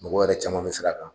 Mɔgɔ yɛrɛ caman bɛ sira kan